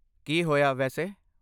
ਕੀ ਹੋਇਆ, ਵੈਸੇ?